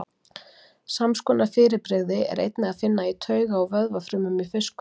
Sams konar fyrirbrigði er einnig að finna í tauga- og vöðvafrumum í fiskum.